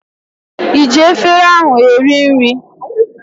ị ji efere ahụ eri nri?